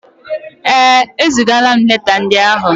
Ee, ezigaala m leta ndị áhụ̀.